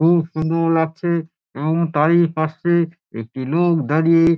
খুব সুন্দর লাগছে এবং তারই পাশে একটি লোক দাঁড়িয়ে ।